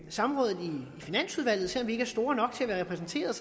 samrådet i finansudvalget selv om vi ikke er store nok til at være repræsenteret